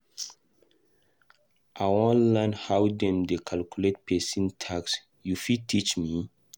I wan learn how dem dey calculate pesin tax, you fit teach me?